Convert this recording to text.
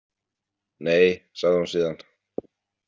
Nei, sagði hún síðan.